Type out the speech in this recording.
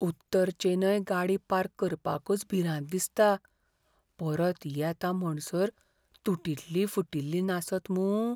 उत्तर चेन्नय गाडी पार्क करपाकच भिरांत दिसता, परत येता म्हणसर तुटिल्ली फुटिल्ली नासत मूं?